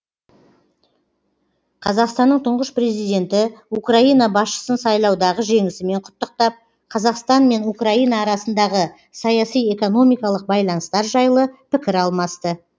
қазақстанның тұңғыш президенті украина басшысын сайлаудағы жеңісімен құттықтап қазақстан мен украина арасындағы саяси экономикалық байланыстар жайлы пікір алмасты